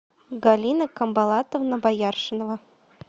галина камбалатовна бояршинова